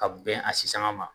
Ka bɛn a sisanga ma